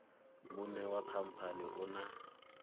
muṋe wa khamphani u na